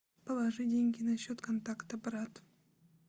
положи деньги на счет контакта брат